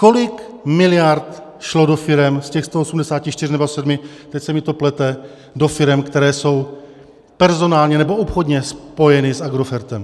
Kolik miliard šlo do firem z těch 184 nebo 187 - teď se mi to plete - do firem, které jsou personálně nebo obchodně spojené s Agrofertem?